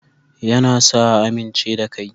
Ya na sa a amince da kai